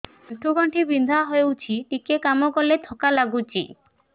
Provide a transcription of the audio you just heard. ଆଣ୍ଠୁ ଗଣ୍ଠି ବିନ୍ଧା ହେଉଛି ଟିକେ କାମ କଲେ ଥକ୍କା ଲାଗୁଚି